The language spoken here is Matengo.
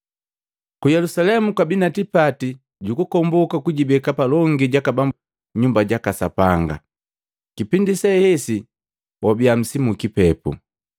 Ku Yelusalemu kwabi tipati gukukomboka kujibeka palongi jaka Bambu Nyumba jaka Sapanga. Kipindi se hesi wabiya nsimu ukipepu.